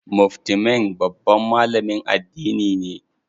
Mufti Menk babban malamin addini ne.